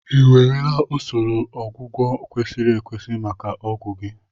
Ị ewerela usoro ọgwụgwọ kwesịrị ekwesị maka ọgwụ gi?